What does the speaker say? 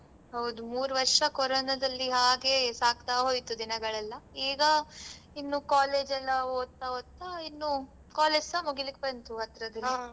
ಹೌದು ಮೂರು ವರ್ಷ ಕೊರೊನದಲ್ಲಿ ಹಾಗೇ ಸಾಗ್ತಾ ಹೊಯ್ತು ದಿನಗಳೆಲ್ಲ ಈಗ ಇನ್ನು college ಎಲ್ಲ ಓದ್ತ ಓದ್ತ ಇನ್ನು college ಸ ಮುಗಿಲಿಕ್ ಬಂತು ಅದ್ರದಿಂದ